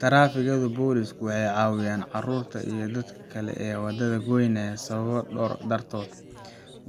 Taraafikada booliisku waxay caawiyaan carruurta iyo dadka kale ee waddada goynaya sababo dhowr ah dartood.